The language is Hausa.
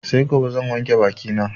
Sai gobe zan wanke baki na